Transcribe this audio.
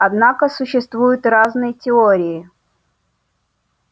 однако существуют разные теории